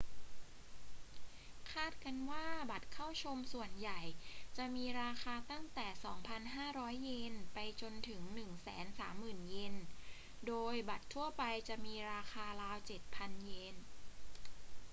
คาดกันว่าบัตรเข้าชมส่วนใหญ่จะมีราคาตั้งแต่ 2,500 เยน ไปจนถึง 130,000 เยน โดยบัตรทั่วไปจะมีราคาราว 7,000 เยน